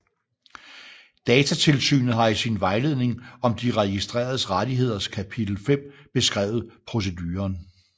Datatilsynet har i sin Vejledning om De Registreredes Rettigheders kapitel 5 beskrevet proceduren